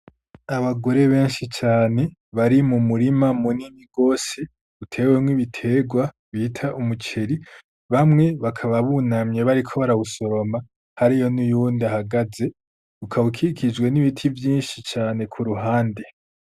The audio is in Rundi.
Abagore benshi cane bari mu murima mu nini gose utewemwo ibiterwa bita umuceri bamwe bakaba bunamye bariko barawusoroma hari yo n'uyundi ahagaze ukawukikijwe n'ibiti vyinshi cane ku ruhande.